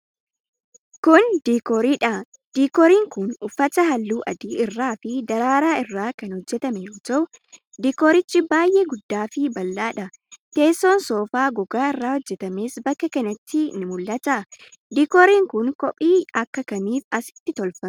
Kun, diikoorii dha. Diikooriin kun, uffata haalluu adii irra fi daraaraa irraa kan hojjatame yoo ta'u, diikoricha baay'ee guddaa fi bal'aadha? Teessoon soofaa gogaa irraa hojjatames bakka kanatti ni mul'ata. Diikooriin kun, qophii akka kamiitiif asitti tolfame?